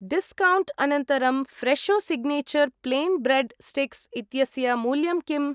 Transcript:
Discount अनन्तरं Fresho signature plain bread sticks इत्यस्य मूल्यं किम्?